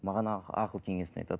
маған ақыл кеңесін айтады